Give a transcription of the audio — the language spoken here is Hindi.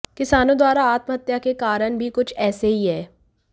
किसानों द्वारा आत्महत्या के कारण भी कुछ एेसे ही हैं